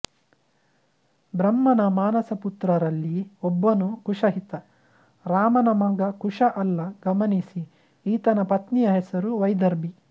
ಬ್ರಹ್ಮನ ಮಾನಸಪುತ್ರರಲ್ಲಿ ಒಬ್ಬನು ಕುಶಈತ ರಾಮನ ಮಗ ಕುಶ ಅಲ್ಲ ಗಮನಿಸಿ ಈತನ ಪತ್ನಿಯ ಹೆಸರು ವೈದರ್ಭಿ